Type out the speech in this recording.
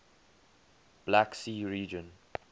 black sea region